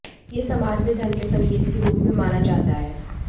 यह समाज में धन के संकेत के रूप में माना जाता है